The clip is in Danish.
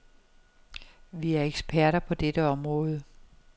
Vi er eksperter på dette område.